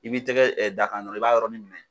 I b'i tɛgɛ d'a kan dɔrɔn i b'a yɔrɔnin minɛ.